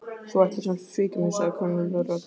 Þú ætlar sem sagt að svíkja mig sagði kunnugleg rödd.